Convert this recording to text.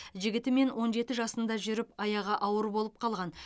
жігітімен он жеті жасында жүріп аяғы ауыр болып қалған